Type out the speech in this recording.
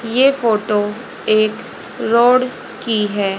ये फोटो एक रोड की है।